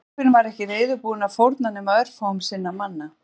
Biskupinn var ekki reiðubúinn að fórna nema örfáum sinna manna